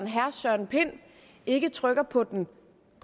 herre søren pind ikke trykker på den